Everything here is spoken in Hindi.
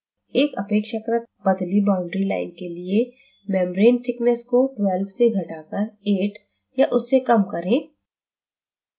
एक अपेक्षाकृत पतली boundary line के लिए membrane thickness को 12 से घटाकर 8 या उससे कम करें